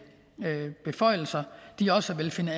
beføjelser også vil finde